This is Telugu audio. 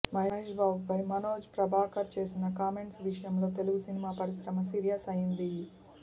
మహేష్ బాబుపై మనోజ్ ప్రభాకర్ చేసిన కామెంట్స్ విషయంలో తెలుగు సినిమా పరిశ్రమ సీరియస్ అయింది